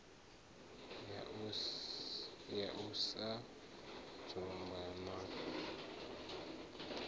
ya u sa dzumba na